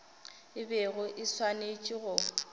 e bego e swanetše go